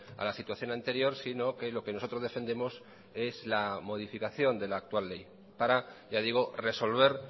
a la situación anterior sino que lo que nosotros defendemos es la modificación de la actual ley para ya digo resolver